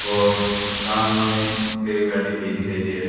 और सामने एक गाड़ी भी दिखाई दे रही--